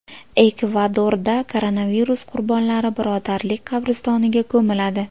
Ekvadorda koronavirus qurbonlari birodarlik qabristoniga ko‘miladi.